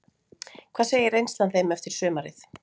Hvað segir reynslan þeim eftir sumarið?